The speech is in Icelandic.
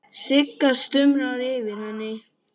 Sigga stumrar yfir henni.